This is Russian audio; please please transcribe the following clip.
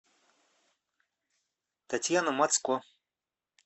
татьяна мацко